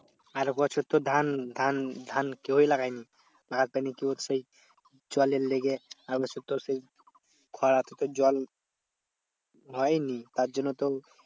আর বছর তো ধান ধান ধান কেউই লাগায়নি। জলের লেগে আর বছর তো সেই খরাতে তোর জল হয়েই নি। তার জন্য তো